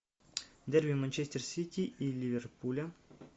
дерби манчестер сити и ливерпуля